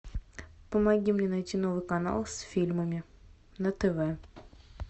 помоги мне найти новый канал с фильмами на тв